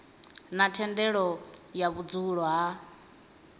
na thendelo ya vhudzulo ha